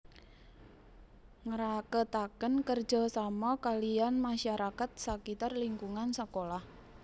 Ngraketaken kerja sama kaliyan masyarakat sakitar lingkungan sekolah